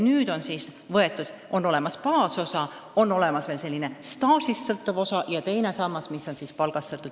Nüüd on siis olemas baasosa ehk staažist sõltuv osa ja on ka teine sammas, mis sõltub palgast.